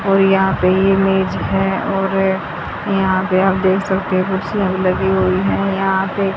और यहां पे इमेज है और यहां पे आप देख सकते हो कुर्सियां भी लगी हुई हैं यहां पे।